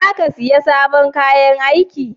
Za ka siya sabon kayan aiki?